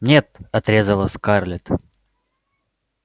нет отрезала скарлетт